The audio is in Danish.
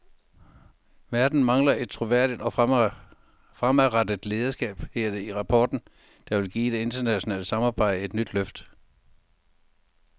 Verden mangler et troværdigt og fremadrettet lederskab, hedder det i rapporten, der vil give det internationale samarbejde et nyt løft.